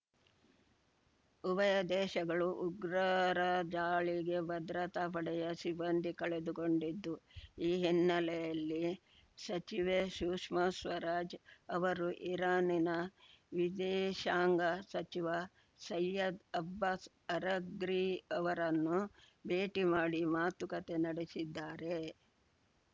ಉಭಯ ದೇಶಗಳು ಉಗ್ರರ ದಾಳಿಗೆ ಭದ್ರತಾ ಪಡೆಯ ಸಿಬ್ಬಂದಿ ಕಳೆದುಕೊಂಡಿದ್ದು ಈ ಹಿನ್ನೆಲೆಯಲ್ಲಿ ಸಚಿವೆ ಸುಷ್ಮಾ ಸ್ವರಾಜ್‌ ಅವರು ಇರಾನಿನ ವಿದೇಶಾಂಗ ಸಚಿವ ಸಯ್ಯದ್‌ ಅಬ್ಬಾಸ್‌ ಅರಗ್ರಿ ಅವರನ್ನು ಭೇಟಿ ಮಾಡಿ ಮಾತುಕತೆ ನಡೆಸಿದ್ದಾರೆ